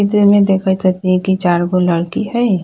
चित्र में देखित हथी की चार गो लड़की हई।